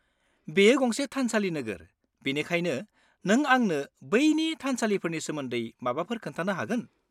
-बेयो गंसे थानसालि नोगोर, बेनिखायनो नों आंनो बैनि थानसालिफोरनि सोमोन्दै माबाफोर खोन्थानो हागोन?